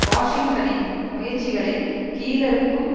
வாஷிங்டனின் முயற்சிகளை கீழறுக்கும்